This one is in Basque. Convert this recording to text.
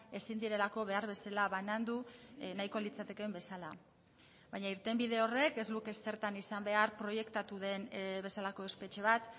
ezin direlako behar bezala banandu nahiko litzatekeen bezala baina irtenbide horrek ez luke zertan izan behar proiektatu den bezalako espetxe bat